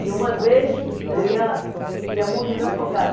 E, uma vez, eu ia ia morrendo afogada.